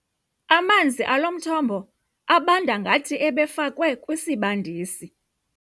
Amanzi alo mthombo abanda ngathi ebefakwe kwisibandisi.